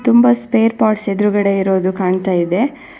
ತುಂಬಾ spare parts ಎದ್ರುಗಡೆ ಇರೋದು ಕಾಣ್ತಾ ಇದೆ.